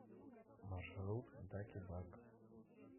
маршрут даки дак